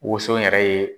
Woson yɛrɛ ye